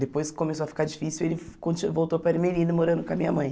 Depois que começou a ficar difícil, ele conti voltou para Ermelino, morando com a minha mãe.